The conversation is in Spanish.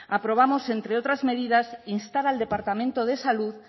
aprobamos entre otras medidas instar al departamento de salud